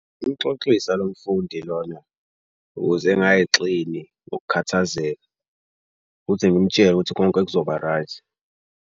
Umxoxisa lo mfundi lona ukuze engayixini ngokukhathazeka futhi ngimtshele ukuthi konke kuzoba-right.